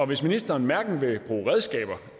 hvis ministeren hverken vil bruge redskaber